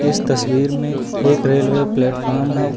इस तस्वीर में एक रेलवे प्लेटफार्म है।